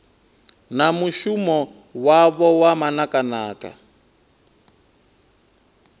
na mushumo wavho wa manakanaka